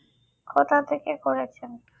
কোথা থেকে করেছেন